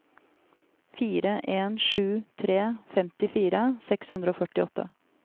fire en sju tre femtifire seks hundre og førtiåtte